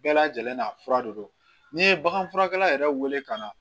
Bɛɛ lajɛlen n'a fura de don n'i ye baganfurakɛla yɛrɛ wele ka na